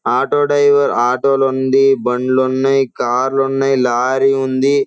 Auto driver auto లుండి బండ్లున్నాయి కార్లు న్నాయి లారీ ఉంది.